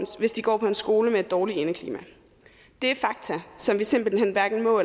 hvis de går på en skole med et dårligt indeklima det er fakta som vi simpelthen hverken må og